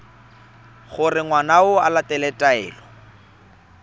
gore ngwana o latela taelo